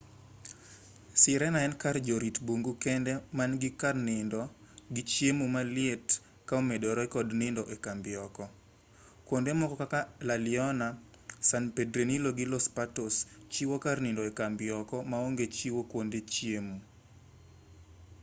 sirena en kar jorit bungu kende ma nigi kar nindo gi chiemo maliet ka omedore kod nindo ekambi oko kuonde moko kaka la leona san pedrillo gi los patos chiwo kar nindo ekambi oko maonge chiwo kuonde chiemo